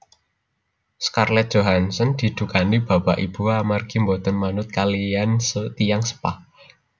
Scarlett Johansson didukani bapak ibu amargi mboten manut kaliyan tiyang sepah